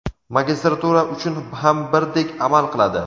magistratura uchun ham birdek amal qiladi.